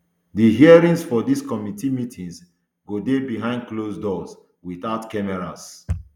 di hearings for dis committee meetings go dey behind closed doors without cameras